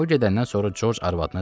O gedəndən sonra Corc arvadına dedi.